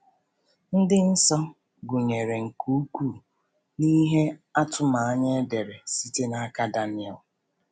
Ndị nsọ gụnyere nke ukwuu n’ihe atụmanya e dere site n’aka Daniel.